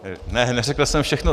Ne, neřekl jsem všechno.